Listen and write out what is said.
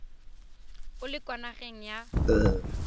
o le kwa nageng ya